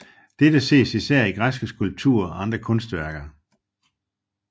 Dette ses især i græske skulpturer og andre kunstværker